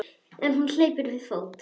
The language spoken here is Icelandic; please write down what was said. En hún hleypur við fót.